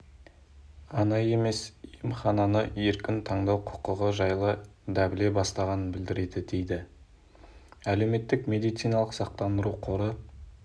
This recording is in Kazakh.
ғана емес емхананы еркін таңдау құқығы жайлы дабіле бастағанын білдіреді деді әлеуметтік медициналық сақтандыру қоры